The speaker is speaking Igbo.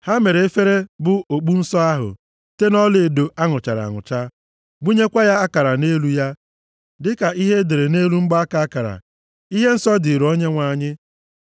Ha mere efere, bụ okpu nsọ ahụ, site nʼọlaedo a nụchara anụcha, gbunyekwa akara nʼelu ya, dịka ihe e dere nʼelu mgbaaka akara: Ihe nsọ dịrị Onyenwe anyị.